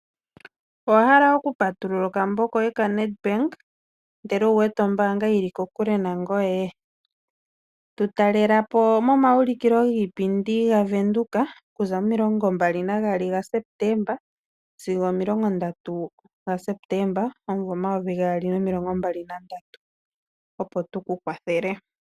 Owa hala okupatulula okambo koye ko-Nedbank ashike owu wete ombaanga yili kokule nangoye? Tu talelepo momauliko giipindi gaVenduka oku za momasiku omilingo mbali nagaali sigo omomilongo ndatu gaSepeteemba omvo omayovi gaali nomilongo mabali nandatu, opo tukukwathele.